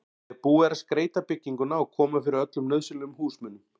þegar búið er að skreyta bygginguna og koma fyrir öllum nauðsynlegum húsmunum.